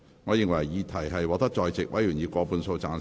我認為議題獲得在席委員以過半數贊成。